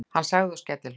sagði hann og skellihló.